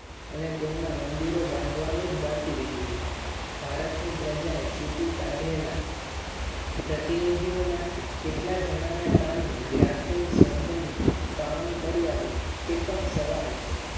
આને તેમના મંદિરો બાંધવાનુ જ બાકી રહ્યુ છે. ભારતની પ્રજા એ ચૂંટી કાઢેલા પ્રતિનિધિઓ માથી કેટલાય જણાના કામને graphic શબ્દને પાવન કયાૅ હોય તે પણ સાવલ છે